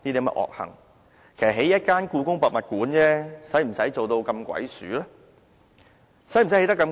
為何興建一間故宮博物館，要做到這麼鬼祟呢？